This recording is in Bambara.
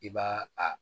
I b'a a